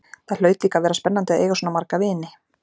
Það hlaut líka að vera spennandi að eiga svona marga vini.